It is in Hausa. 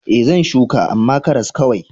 E, zan shuka, amma karas kawai.